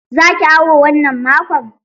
Za ki awo wannan makon?